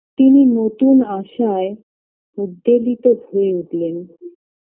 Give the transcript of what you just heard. তিনি নতুন আশায় উদ্বেলিত হয়ে উঠলেন